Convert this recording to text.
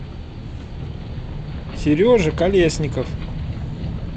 сережа колесников